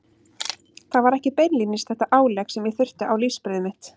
Það var ekki beinlínis þetta álegg sem ég þurfti á lífsbrauðið mitt.